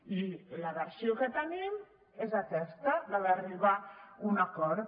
i la versió que tenim és aquesta la d’arribar a un acord